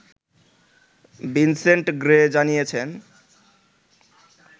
Vincent Gray জানিয়েছেন